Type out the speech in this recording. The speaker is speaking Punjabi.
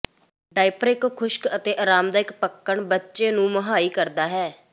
ਡਾਇਪਰ ਇੱਕ ਖੁਸ਼ਕ ਅਤੇ ਆਰਾਮਦਾਇਕ ਪੱਕਣ ਬੱਚੇ ਨੂੰ ਮੁਹੱਈਆ ਕਰਦਾ ਹੈ